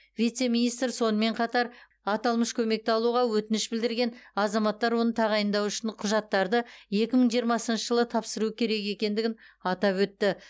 вице министр сонымен қатар аталмыш көмекті алуға өтініш білдірген азаматтар оны тағайындау үшін құжаттарды екі мың жиырмасыншы жылы тапсыруы керек екендігін атап өтті